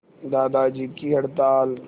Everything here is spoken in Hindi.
दादाजी की हड़ताल